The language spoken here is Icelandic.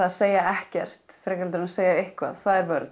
segja ekkert frekar heldur en að segja eitthvað það er vörn